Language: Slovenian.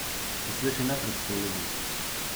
Se sliši nepredstavljivo?